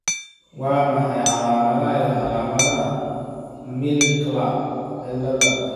Waa maxay calaamadaha iyo calaamadaha Milkla cilada?